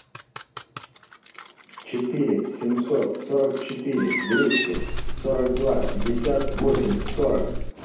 четыре семьсот сорок четыре двести сорок два пятьдесят восемь сорок